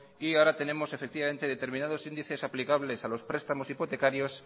y ahora tenemos determinados índices aplicables a los prestamos hipotecarios